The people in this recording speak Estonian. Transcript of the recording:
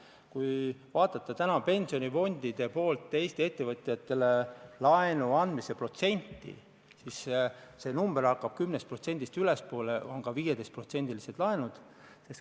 Kui vaatate täna pensionifondide poolt Eesti ettevõtjatele antava laenu protsenti, siis näete, et see number on vähemalt 10%, on ka 15%-lised laenud.